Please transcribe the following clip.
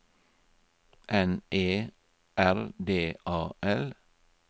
N E R D A L